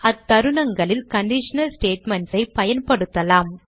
அத்தருணங்களில் conditional statements ஐ பயன்படுத்தலாம்